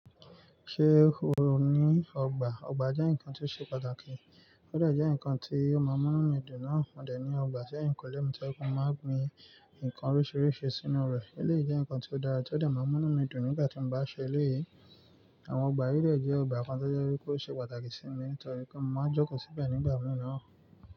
Ṣé o ní ọgbà? Ọgbà jẹ́ nǹkan tó ṣe pàtàkì. Ó dà jẹ́ nǹkan tí ó máa múnú mi dùn náà. Mo de ní ọgbà ṣi eyinkunle mi ti o jẹ́ pe mo máa ń gbin nǹkan oríṣìíríṣìí sínú rẹ̀. Ó lè jẹ́ nǹkan tí ó dára tí ó dà máa múnú mi dùn nígbà tí mo bá ṣe eléyìí. Àwọn ọgbà yi dẹ̀ jẹ́ ọgbà kan tó jẹ́ wípé ó ṣe pàtàkì sí mi nitorí pé mo máa joko síbẹ̀ nígbà mìíràn.